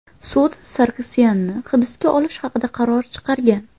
Sud Sargsyanni hibsga olish haqida qaror chiqargan.